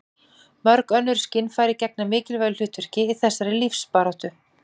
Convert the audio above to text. mörg önnur skynfæri gegna mikilvægu hlutverki í þessari lífsbaráttu